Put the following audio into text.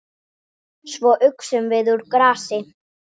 Svo uxum við úr grasi.